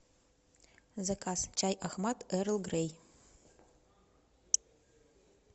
заказ чай ахмад эрл грей